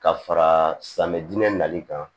Ka fara dinɛ nali kan